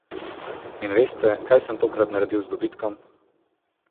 In veste, kaj sem takrat naredil z dobitkom?